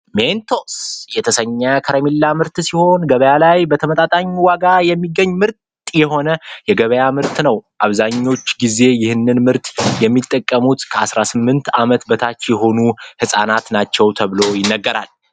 ሜንቶስ የተሰኘው ከረሜላ ምርት ሲሆን ገበያ ላይ በተመጣጣኝ ዋጋ የሚገኝ ምርጥ የሆነ የገበያ ምርት ነው አብዛኛውን ጊዜ ይህን ምርት የሚጠቀሙት ከ18 አመት በታች የሆኑ ህፃናት ናቸው።